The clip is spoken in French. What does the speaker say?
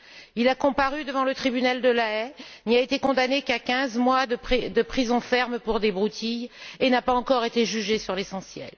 Il a comparu devant le Tribunal de la Haye, n'y a été condamné qu'à quinze mois de prison ferme pour des broutilles et n'a pas encore été jugé sur l'essentiel.